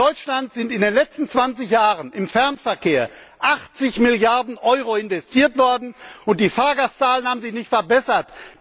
In Deutschland sind in den letzten 20Jahren im Fernverkehr 80Milliarden Euro investiert worden und die Fahrgastzahlen haben sich nicht verbessert.